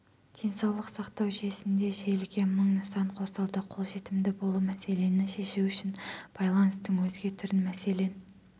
денсаулық сақтау жүйесінде желіге мың нысан қосылды қолжетімді болу мәселені шешу үшін байланыстың өзге түрін мәселен